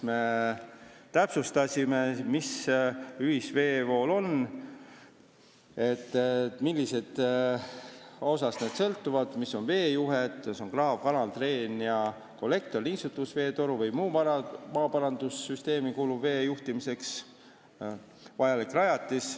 Me täpsustasime, mis see ühiseesvool on, mis on veejuhe – see on kraav, kanal, dreen ja kollektor, niisutusvee toru või muu maaparandussüsteemi kuuluv vee juhtimiseks vajalik rajatis.